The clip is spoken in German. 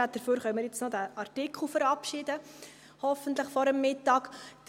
Dafür können wir diesen Artikel jetzt hoffentlich noch vor dem Mittag verabschieden.